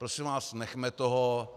Prosím vás, nechme toho.